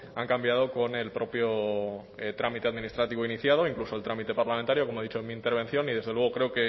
han cambiado con el propio trámite administrativo iniciado incluso el trámite parlamentario como he dicho en mi intervención y desde luego creo